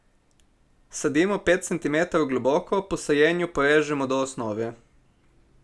Sadimo pet centimetrov globoko, po sajenju porežemo do osnove.